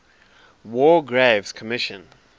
war graves commission